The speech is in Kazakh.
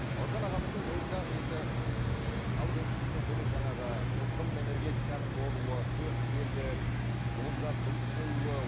бауыржан ағамыздың бойында енді ыыы халық емшілігінен бөлек жаңағы тылсым энергетиканың болуы көріпкелдік болжап біліп қоюы